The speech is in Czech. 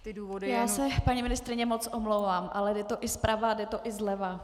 Já se, paní ministryně, moc omlouvám, ale jde to i zprava, jde to i zleva.